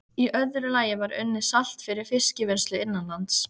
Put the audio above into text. Í öðru lagi var unnið salt fyrir fiskvinnslu innanlands.